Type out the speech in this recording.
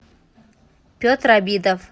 петр обидов